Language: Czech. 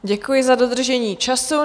Děkuji za dodržení času.